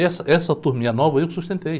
Essa, essa turminha nova eu que sustentei.